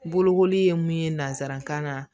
Bolokoli ye mun ye nanzarakan na